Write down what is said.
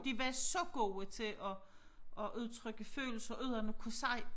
De var så gode til at at udtrykke følelser uden at kunne sige